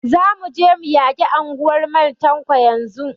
Za mu je mu yaki anguwar Mal Tanko yanzun!